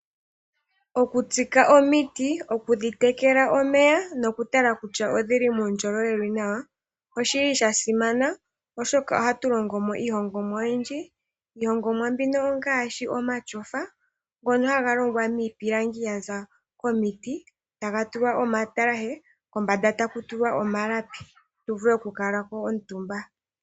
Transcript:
Oku tsika omiti, oku dhi tekela omeya noku tala kutya odhili muundjolowele wuli nawa oshili sha simana oshoka ohatu longo mo iilongomwa oyindji. Iilongomwa mbino ongaashi omatyofa ngono haga longwa niipilangi yaza komiti taga tulwa omatalashe, kombanda taku tulwa omalapi, tu vule oku kuutumba ko.